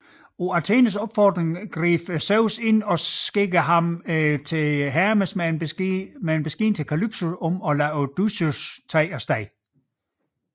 På Athenes opfordring greb Zeus ind og sendte Hermes med besked til Kalypso om at lade Odysseus tage af sted